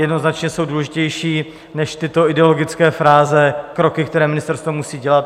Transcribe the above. Jednoznačně jsou důležitější než tyto ideologické fráze kroky, které ministerstvo musí dělat.